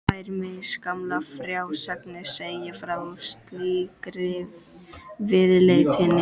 Tvær misgamlar frásagnir segja frá slíkri viðleitni.